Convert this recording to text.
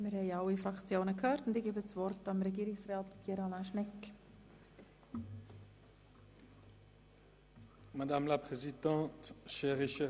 Wir haben alle Fraktionen gehört und ich erteile Regierungsrat Schnegg das Wort.